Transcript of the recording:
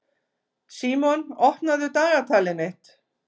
Símon, opnaðu dagatalið mitt.